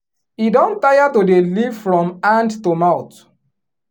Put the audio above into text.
e don tire to dey live from hand to mouth.